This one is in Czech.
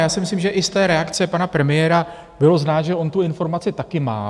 Já si myslím, že i z té reakce pana premiéra bylo znát, že on tu informaci taky má.